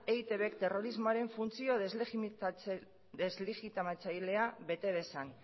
eitbk terrorismoaren funtzio deslegitimatzailea bete dezan